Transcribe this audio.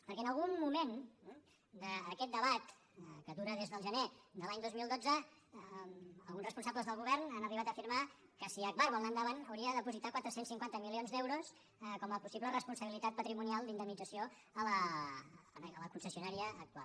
perquè en algun moment d’aquest debat que dura des del gener de l’any dos mil dotze alguns responsables del govern han arribat a afirmar que si agbar vol anar endavant hauria de dipositar quatre cents i cinquanta milions d’euros com a possible responsabilitat patrimonial d’indemnització a la concessionària actual